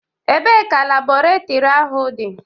Ebee ka Labọretọri ahụ dị?